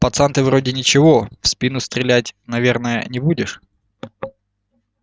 пацан ты вроде ничего в спину стрелять наверное не будешь